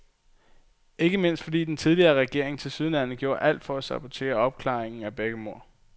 Ikke mindst, fordi den tidligere regering tilsyneladende gjorde alt for at sabotere opklaringen af begge mord.